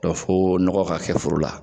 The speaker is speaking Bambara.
fo nɔgɔ ka kɛ foro la.